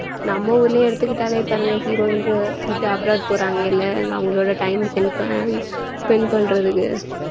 நம்ம ஊர்லயே எடுத்துக்கிட்டாலே பாருங்க heroines உ இது abroad போறாங்கல்ல அவங்களோட time அ sen~ பண்~ spend பண்றதுக்கு